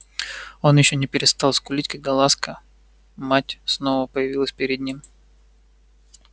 он ещё не перестал скулить когда ласка мать снова появилась перед ним